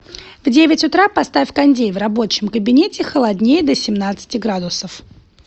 в девять утра поставь кондей в рабочем кабинете холоднее до семнадцати градусов